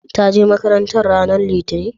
ta je makaranta ranar litani?